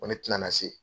Ko ne tɛna na se